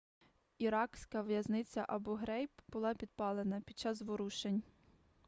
іракська в'язниця абу-грейб була підпалена під час заворушень